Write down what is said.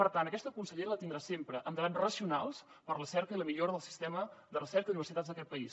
per tant aquesta consellera la tindrà sempre en debats racionals per a la cerca i la millora del sistema de recerca i universitats d’aquest país